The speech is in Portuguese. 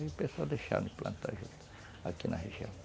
Aí o pessoal deixaram de plantar juta aqui na região.